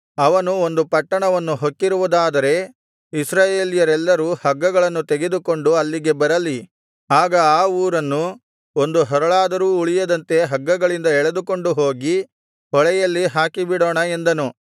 ಅವನು ಒಂದು ಪಟ್ಟಣವನ್ನು ಹೊಕ್ಕಿರುವುದಾದರೆ ಇಸ್ರಾಯೇಲ್ಯರೆಲ್ಲರೂ ಹಗ್ಗಗಳನ್ನು ತೆಗೆದುಕೊಂಡು ಅಲ್ಲಿಗೆ ಬರಲಿ ಆಗ ಆ ಊರನ್ನು ಒಂದು ಹರಳಾದರೂ ಉಳಿಯದಂತೆ ಹಗ್ಗಗಳಿಂದ ಎಳೆದುಕೊಂಡು ಹೋಗಿ ಹೊಳೆಯಲ್ಲಿ ಹಾಕಿ ಬಿಡೋಣ ಎಂದನು